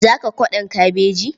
Za ka kwaɗon kabeji?